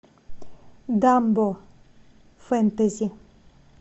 дамбо фэнтези